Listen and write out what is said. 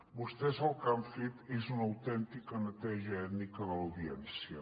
vostès el que han fet és una autèntica neteja ètnica a l’audiència